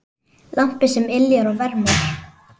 Lampi sem yljar og vermir.